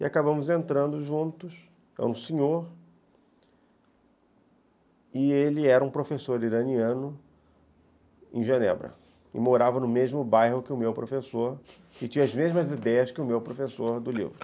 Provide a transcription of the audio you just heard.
E acabamos entrando juntos, é um senhor, e ele era um professor iraniano em Genebra, e morava no mesmo bairro que o meu professor, e tinha as mesmas ideias que o meu professor do livro.